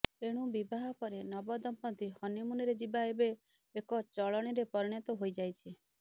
ଏଣୁ ବିବାହ ପରେ ନବ ଦମ୍ପତ୍ତି ହନିମୁନରେ ଯିବା ଏବେ ଏକ ଚଳଣୀରେ ପରିଣତ ହୋଇଯାଇଛି